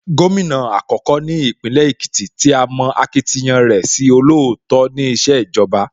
Gómìnà àkọ́kọ́ ní Ìpínlẹ̀ Èkìtì tí a mọ akitiyan rẹ̀ sí olóòótọ́ ní ìṣèjọba